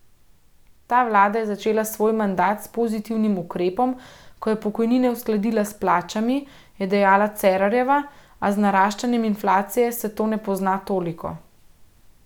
Ta vlada je začela svoj mandat s pozitivnim ukrepom, ko je pokojnine uskladila s plačami, je dejala Cerarjeva, a z naraščanjem inflacije se to ne pozna toliko.